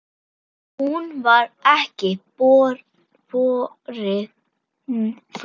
Hún var ekki borin fram.